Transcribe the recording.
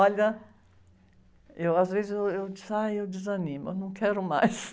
Olha, às vezes eu, eu, eu disse, ai, eu desanimo, eu não quero mais.